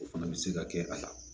O fana bɛ se ka kɛ a la